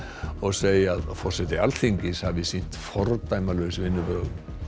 og segja að forseti Alþingis hafi sýnt fordæmalaus vinnubrögð